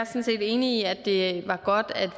set enig i at det var godt at